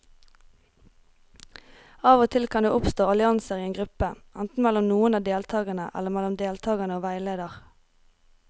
Av og til kan det oppstå allianser i en gruppe, enten mellom noen av deltakerne eller mellom deltakere og veileder.